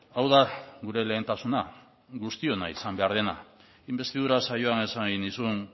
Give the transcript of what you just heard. hau da gure lehentasuna guztiona izan behar dena inbestidura saioan esan nizun